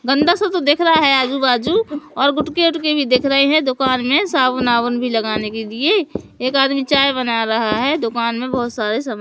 गंदा सा तो दिख रहा है आजू बाजू और गुटके उठके भी दिख रहे हैं दुकान में साबुन आबून भी लगाने के लिए एक आदमी चाय बना रहा है दुकान में बहुत सारे सा--